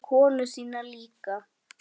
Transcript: Vakti ég konu þína líka?